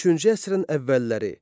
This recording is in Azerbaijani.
Üçüncü əsrin əvvəlləri.